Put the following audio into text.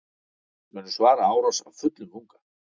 Munu svara árás af fullum þunga